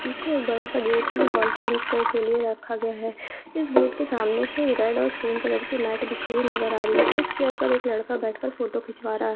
पीछे बड़ा सा एक गेट है जो हॉल के एंट्री के लिए रखा गया है इस गेट के सामने से रेड और क्रीम कलर के मेट बिछी हुई नज़र रही है एक चेयर पर एक लड़का बैठकर फोटो खिंचवा रहा है।